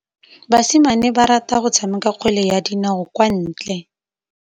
Basimane ba rata go tshameka kgwele ya dinaô kwa ntle.